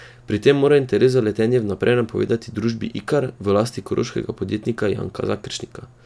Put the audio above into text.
Pri tem morajo interes za letenje vnaprej napovedati družbi Ikar, v lasti koroškega podjetnika Janka Zakeršnika.